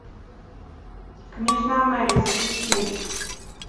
княжна мери запусти